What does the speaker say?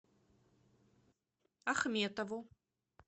ахметову